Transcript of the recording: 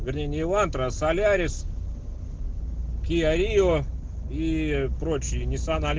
изменение лантра солярис